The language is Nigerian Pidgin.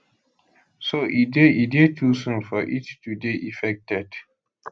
so e dey e dey too soon for it to dey effected